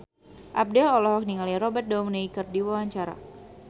Abdel olohok ningali Robert Downey keur diwawancara